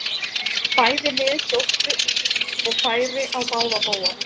Bæði lið sóttu og færi á báða bóga.